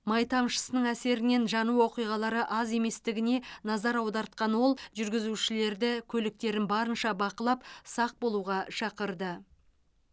май тамшысының әсерінен жану оқиғалары аз еместігіне назар аудартқан ол жүргізушілерді көліктерін барынша бақылап сақ болуға шақырды